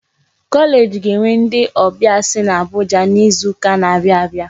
Kọleeji ga-enwe ndị ọbịa si Abuja n'izuka n'abia abịa.